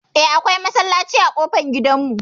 Eh, akwai masallaci a ƙofar gidan mu.